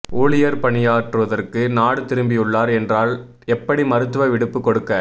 ஊழியர் பணியாற்றுவதற்கு நாடு திரும்பியுள்ளார் என்றால் எப்படி மருத்துவ விடுப்பு கொடுக்க